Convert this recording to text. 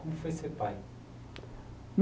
Como foi ser pai?